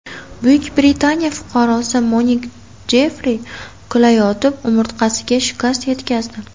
Buyuk Britaniya fuqarosi Monik Jeffri kulayotib umurtqasiga shikast yetkazdi.